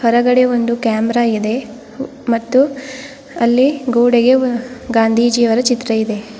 ಕೆಳಗಡೆ ಒಂದು ಕ್ಯಾಮೆರಾ ಇದೆ ಮತ್ತು ಅಲ್ಲಿ ಗೋಡೆಗೆ ಗಾಂಧೀಜಿಯವರ ಚಿತ್ರವಿದೆ.